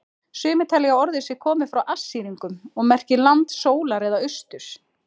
Sumir telja að orðið sé komið frá Assýringum og merki land sólar eða austur.